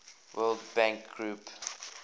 world bank group